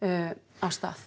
af stað